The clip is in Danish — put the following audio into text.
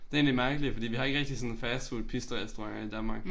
Det egentlig mærkeligt fordi vi har ikke rigtig sådan fastfoodpizzarestauranter i Danmark